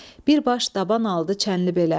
Bir baş daban aldı Çənlibelə.